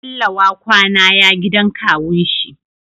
Bello wa kwAna ya gidan kawun shi